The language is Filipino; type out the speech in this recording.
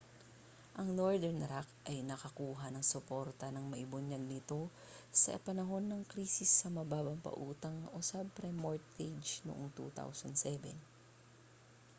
ang northern rock ay nakakuha ng suporta nang maibunyag ito sa panahon ng krisis sa mababang pautang o subprime mortgage noong 2007